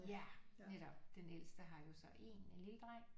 Ja netop den ældste har jo så én en lille dreng